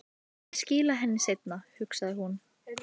Ég skila henni seinna, hugsaði hún.